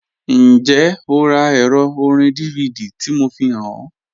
Njẹ́, ọ rá èrò òrìn DVD tí mò fíhàn ọ?